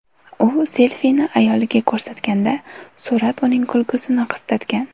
U selfini ayoliga ko‘rsatganda, surat uning kulgusini qistatgan.